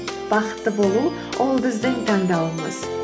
бақытты болу ол біздің таңдауымыз